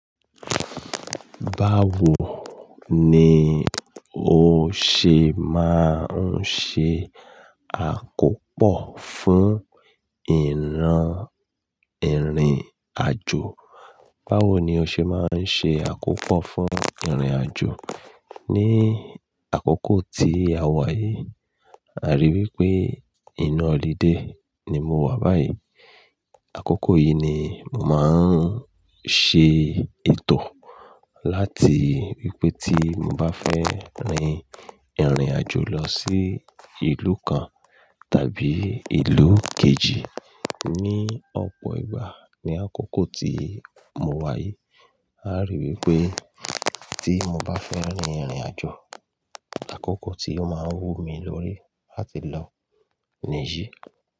Báwo ni o ṣe máa ń ṣe àkópọ̀ fún ìran ìrìnàjò? Báwo ni o ṣe máa ń ṣe àkópọ̀ fún ìrìnàjò? Ní àkókò tí a wà yìí, àríwí pé inu holiday ni mo wà báyìí. Àkókò yìí ni mò máa ń ṣe ètò láti wípé tí mo bá fẹ́ rin ìrìnàjò lọ sí ìlú kan tàbí ìlú kejì ní ọ̀pọ̀ ìgbà ní àkókò tí mo wà yìí, àríwí pé tí mo bá fẹ́ rin ìrìnàjò, àkókò tí ó máa wú mi lórí láti lọ nìyí.